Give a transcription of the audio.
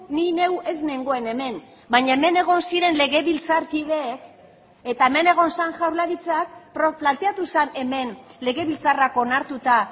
ni neu ez nengoen hemen baina hemen egon ziren legebiltzarkideek eta hemen egon zen jaurlaritzak planteatu zen hemen legebiltzarrak onartuta